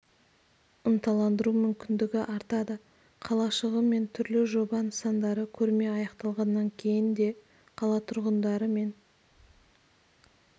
ынталандыру мүмкіндігі артады қалашығы мен түрлі жоба нысандары көрме аяқталғаннан кейін де қала тұрғындары мен